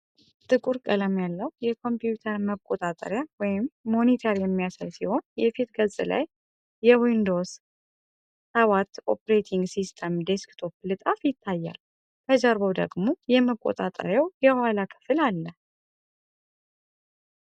ጥቁር ቀለም ያለው የኮምፒውተር መቆጣጠሪያ (ሞኒተር) የሚያሳይ ሲሆን፣ የፊት ገጽ ላይ የዊንዶውስ 7 ኦፕሬቲንግ ሲስተም ዴስክቶፕ ልጣፍ ይታያል። ከጀርባው ደግሞ የመቆጣጠሪያው የኋላ ክፍል አለ።